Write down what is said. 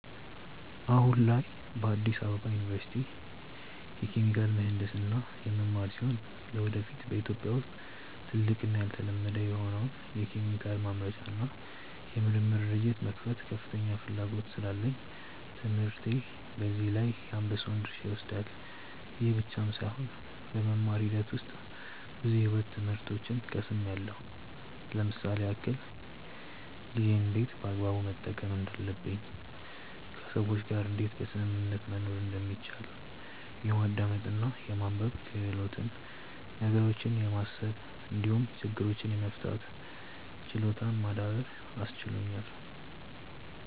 አሁን ላይ በአዲስ አበባ ዩኒቨርሲቲ የኬሚካል ምሕንድስና የምማር ሲሆን ለወደፊት በኢትዮጵያ ውስጥ ትልቅ እና ያልተለመደ የሆነውን የኬሚካል ማምረቻ እና የምርምር ድርጅት የመክፈት ከፍተኛ ፍላጎት ስላለኝ ትምህርቴ በዚህ ላይ የአንበሳውን ድርሻ ይወስዳል። ይህ ብቻም ሳይሆን በመማር ሂደት ውስጥ ብዙ የሕይወት ትምህርቶችን ቀስምያለው ለምሳሌ ያክል፦ ጊዜን እንዴት በአግባቡ መጠቀም እንዳለብኝ፣ ከሰዎች ጋር እንዴት በስምምነት መኖር እንደሚቻል፣ የማዳመጥ እና የማንበብ ክህሎትን፣ ነገሮችን የማሰብ እንዲሁም ችግሮችን የመፍታት ችሎታን ማዳበር አስችሎኛል።